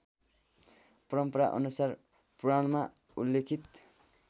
परम्पराअनुसार पुराणमा उल्लेखित